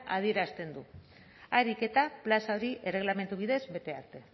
adierazten du harik eta plaza hori erregelamendu bidez bete arte